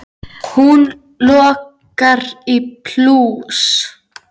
Hún lokar í plús.